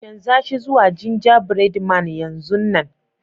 Chanza shi zuwa ginjabread man yanzun nan.